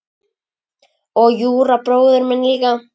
Og Júra bróðir minn líka.